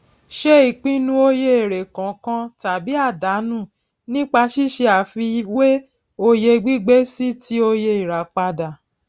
ṣe ìpinu oye èrè kànkan tàbí àdánú nípa sísé àfiwé oye gbígbé sí ti oye ìràpadà